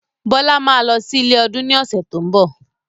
Bọlá máa lọ sí ilé ọdún ni ọ̀sẹ̀ tó ń bọ̀.